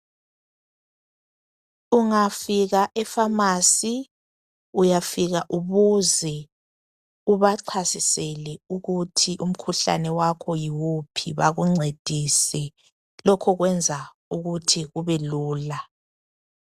Ungafika efamasi uyafika ubuze ubachasisele ukuthi umkhuhlane wakho yiwuphi bakuncedise, lokhu kwenza ukuthi kubelula.